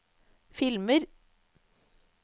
filmer